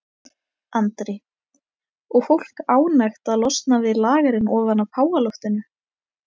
Andri: Og fólk ánægt að losna við lagerinn ofan af háaloftinu?